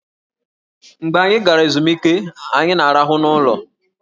Mgbe anyị gara ezumike, anyị na-arahụ n'ụlọ